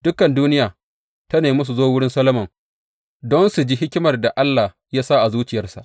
Dukan duniya ta nemi su zo wurin Solomon don su ji hikimar da Allah ya sa a zuciyarsa.